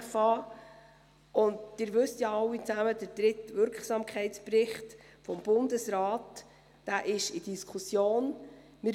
Sie alle wissen ja, dass der dritte Wirksamkeitsbericht des Bundesrats in Diskussion ist.